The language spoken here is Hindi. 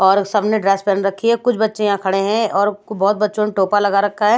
और सबने ड्रैस पहन रखी है कुछ बच्चे यहां खड़े हैं और बहुत बच्चों ने टोपा लगा रखा है।